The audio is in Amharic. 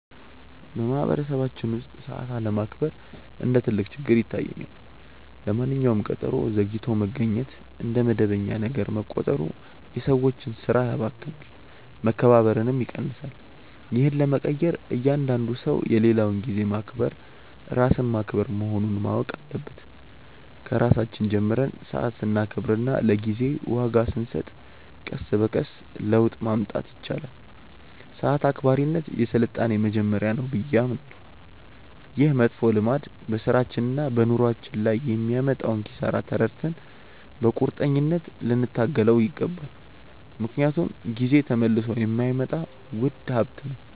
በማኅበረሰባችን ውስጥ ሰዓት አለማክበር እንደ ትልቅ ችግር ይታየኛል። ለማንኛውም ቀጠሮ ዘግይቶ መገኘት እንደ መደበኛ ነገር መቆጠሩ የሰዎችን ሥራ ያባክናል፣ መከባበርንም ይቀንሳል። ይህን ለመቀየር እያንዳንዱ ሰው የሌላውን ጊዜ ማክበር ራስን ማክበር መሆኑን ማወቅ አለበት። ከራሳችን ጀምረን ሰዓት ስናከብርና ለጊዜ ዋጋ ስንሰጥ ቀስ በቀስ ለውጥ ማምጣት ይቻላል። ሰዓት አክባሪነት የሥልጣኔ መጀመሪያ ነው ብዬ አምናለሁ። ይህ መጥፎ ልማድ በሥራችንና በኑሯችን ላይ የሚያመጣውን ኪሳራ ተረድተን በቁርጠኝነት ልንታገለው ይገባል፤ ምክንያቱም ጊዜ ተመልሶ የማይመጣ ውድ ሀብት ነው።